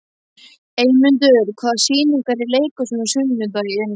Eymundur, hvaða sýningar eru í leikhúsinu á sunnudaginn?